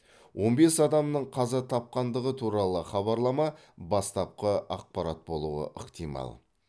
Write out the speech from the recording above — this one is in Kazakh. он бес адамның қаза тапқандығы туралы хабарлама бастапқы ақпарат болуы ықтимал